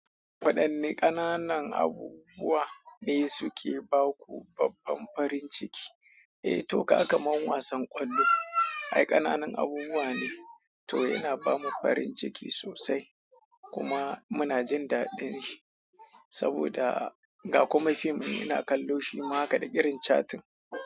Waɗanne ƙananan abubuwa ne suke ba ku babban farin ciki? Eh to ka ga kaman wasan ƙwallo, ai ƙananun abubuwa ne, to yana ba mu farin ciki sosai kuma muna jin daɗin shi saboda. Ga kuma fim in ina kallo shi ma haka da irin cattin.